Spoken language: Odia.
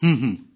ହଁ